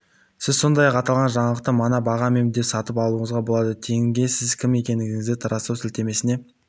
сіз сондай-ақ аталған жаңалықты мына бағамен де сатып алуыңызға болады тенге сіз кім екендігіңізді растау сілтемесіне